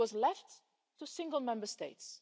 It was left to single Member States.